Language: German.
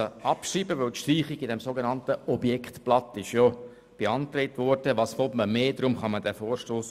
Man kann den Vorstoss abschreiben, da die Streichung im sogenannten Objektblatt beantragt worden ist, und was will man mehr?